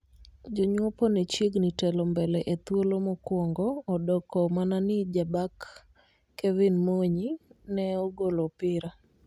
Jonyuopo ne chiegni telo mbele e thuolo mokuongo odoko mana ni jabak Kevin Monyi ne ogolo opira